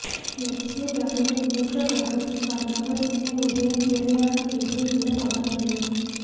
இலட்சிய திராவிட முன்னேற்றக் கழகத்தின் சார்பாக சென்னை உதயம் திரையரங்கம் ஏதிரே உள்ள தபால் நிலையம்